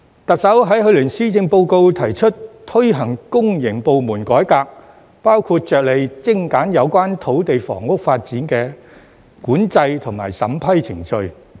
特首在去年施政報告提出推行公營部門改革，包括着力精簡有關土地房屋發展的管制及審批程序。